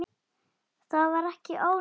Það var ekki ónýtt.